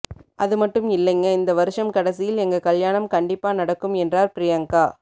அது மட்டும் இல்லைங்க இந்த வருஷம் கடைசியில் எங்க கல்யாணம் கண்டிப்பா நடக்கும் என்றார் பிரியங்கா